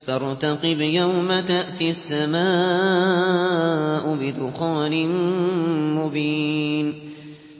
فَارْتَقِبْ يَوْمَ تَأْتِي السَّمَاءُ بِدُخَانٍ مُّبِينٍ